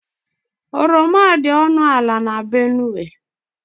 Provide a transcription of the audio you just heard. Oroma dị ọnụ ala n' Benue.